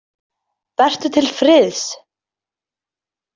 Vertu til friðs.